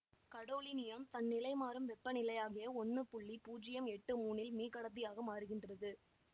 gadolinium தன் நிலைமாறும் வெப்பநிலையாகிய ஒன்று புள்ளி புஜ்யம் எட்டு மூணில் மீகடத்தியாக மாறுகின்றது